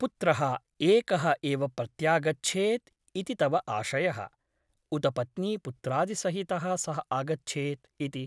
पुत्रः एकः एव प्रत्यागच्छेत् इति तव आशयः , उत पत्नीपुत्रादिसहितः सः आगच्छेत् इति ?